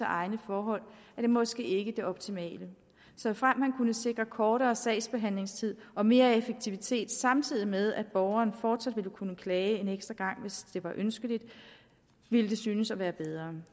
egne forhold er det måske ikke det optimale såfremt man kunne sikre kortere sagsbehandlingstid og mere effektivitet samtidig med at borgeren fortsat ville kunne klage en ekstra gang hvis det var ønsket ville det synes at være bedre